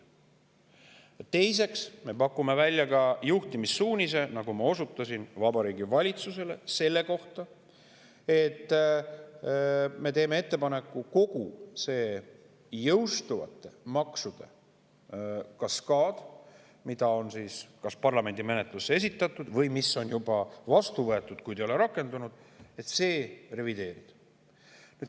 Teiseks, nagu ma osutasin, me selle kohta Vabariigi Valitsusele juhtimissuunise: me teeme ettepaneku kogu see maksude kaskaad, mis on kas parlamendi menetlusse esitatud või juba vastu võetud, kuid ei ole veel rakendunud, revideerida.